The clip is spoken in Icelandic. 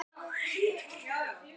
Þetta tikkar svo um munar!